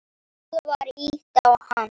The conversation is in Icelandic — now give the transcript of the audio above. Það var ýtt á hann.